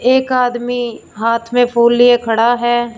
एक आदमी हाथ में फूल लिए खड़ा है।